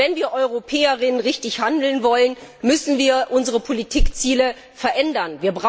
Wenn wir Europäer und Europäerinnen richtig handeln wollen, müssen wir unsere Politikziele verändern.